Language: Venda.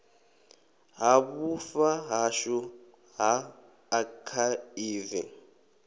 ha vhufa hashu ha akhaivi